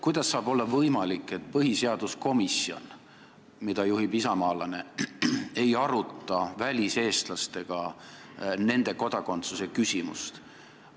Kuidas saab olla võimalik, et põhiseaduskomisjon, mida juhib isamaalane, ei aruta väliseestlastega nende kodakondsuse küsimust?